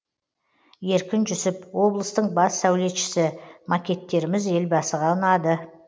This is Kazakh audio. еркін жүсіп облыстың бас сәулетшісі макеттеріміз елбасыға ұнады